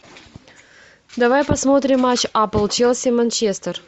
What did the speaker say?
давай посмотрим матч апл челси манчестер